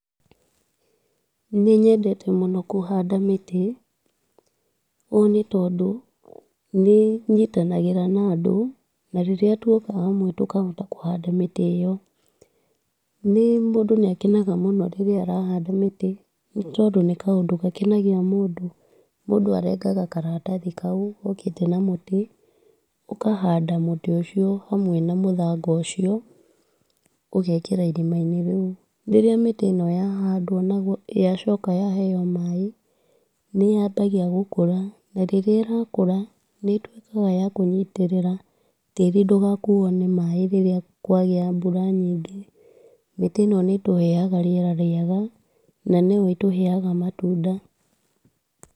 Nĩnyendete mũno kũhanda mĩtĩ ũũ nĩ tondũ nĩnyitanagĩra na andũ, na rĩrĩa twoka hamwe tũkahota kũhanda mĩtĩ ĩyo, nĩ mũndũ nĩ akenaga mũno rĩrĩa arahanda mĩtĩ nĩ tondũ nĩ kaũndũ gakenagia mũndũ, mũndũ arengaga karatathi kau gokĩte na mũtĩ, ũkahanda mũtĩ ũcio hamwe na mũthanga ũcio ũgekĩra irima-inĩ rĩu, rĩrĩa mĩtĩ ĩno yahandwo na yacoka yaheo maaĩ, nĩyambagia gũkũra ,rĩrĩa ĩrakũra nĩ ĩtuĩkaga ya kwĩnyitĩrĩra tĩri ndũgakuo nĩ maaĩ rĩrĩa kwagĩa mbura nyingĩ, mĩtĩ ĩno nĩ ĩtũheaga rĩera rĩega, na no ĩtũheaga matunda.